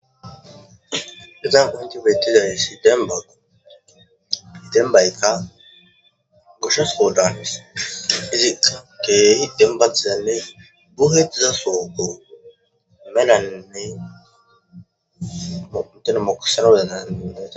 Ezan qonti betizay side dem bay kaka gushas soo daanes izika kehi den ba tizanne gu heediza sooko melanne intena moksano delaiea.